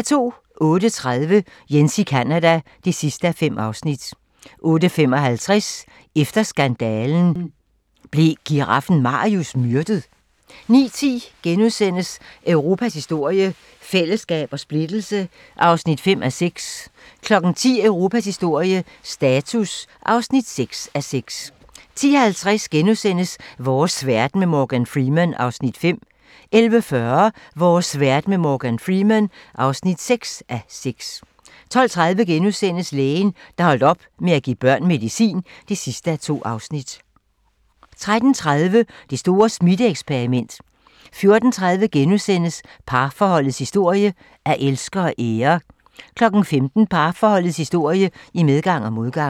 08:30: Jens i Canada (5:5) 08:55: Efter skandalen - Blev giraffen Marius myrdet? 09:10: Europas historie - fællesskab og splittelse (5:6)* 10:00: Europas historie - status (6:6) 10:50: Vores verden med Morgan Freeman (5:6)* 11:40: Vores verden med Morgan Freeman (6:6) 12:30: Lægen, der holdt op med at give børn medicin (2:2)* 13:30: Det store smitte-eksperiment 14:30: Parforholdets historie - at elske og ære * 15:00: Parforholdets historie - i medgang og modgang